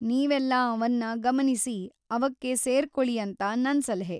ನೀವೆಲ್ಲ ಅವನ್ನ ಗಮನಿಸಿ, ಅವಕ್ಕೆ ಸೇರ್ಕೊಳಿ ಅಂತ ನನ್‌ ಸಲಹೆ.